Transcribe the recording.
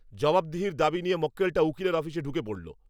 জবাবদিহির দাবি নিয়ে মক্কেলটা উকিলের অফিসে ঢুকে পড়ল!